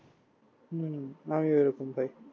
উম আমিও এরকম তাই